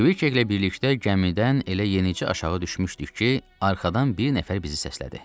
Kviçeklə birlikdə gəmidən elə yenicə aşağı düşmüşdük ki, arxadan bir nəfər bizi səslədi.